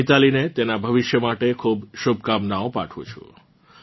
હું મિતાલીને તેનાં ભવિષ્ય માટે ખૂબ શુભકામનાઓ પાઠવું છું